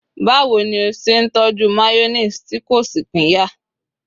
bawo ni o ṣe n tọju mayonnaise ti ko sí pinya